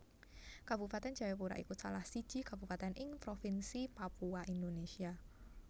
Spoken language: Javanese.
Kabupatèn Jayapura iku salah siji kabupatèn ing Provinsi Papua Indonesia